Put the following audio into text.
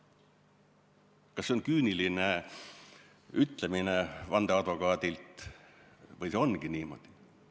" Kas see on vandeadvokaadi küüniline ütlemine või see ongi niimoodi?